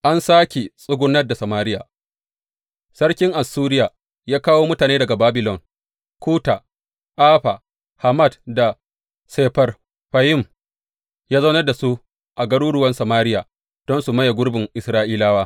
An sāke tsugunar da Samariya Sarkin Assuriya ya kawo mutane daga Babilon, Kuta, Afa, Hamat da Sefarfayim ya zaunar da su a garuruwan Samariya don su maya gurbin Isra’ilawa.